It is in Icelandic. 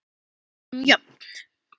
Við erum jöfn.